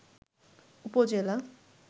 উপজেলা